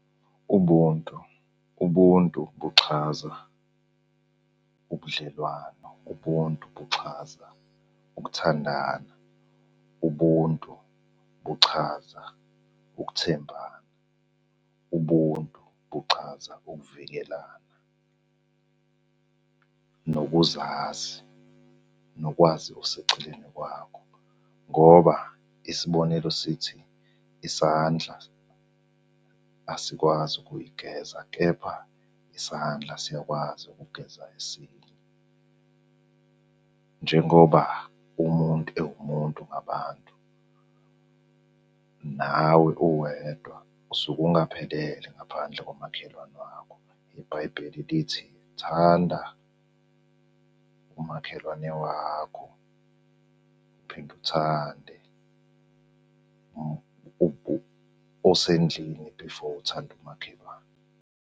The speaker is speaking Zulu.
Ubuntu, ubuntu buchaza ubudlelwano, ubuntu buchaza ukuthandana, ubuntu buchaza ukuthembana, ubuntu buchaza ukuvikelana nokuzazi. Nokwazi oseceleni kwakho, ngoba isibonelo sithi, isandla asikwazi ukuy'geza, kepha isandla siyakwazi ukugeza esinye, njengoba umuntu ewumuntu ngabantu, nawe uwedwa usuke ungaphelele ngaphandle komakhelwane wakho. Ibhayibheli lithi, thanda umakhelwane wakho, uphinde uthande osendlini before uthande umakhelwane.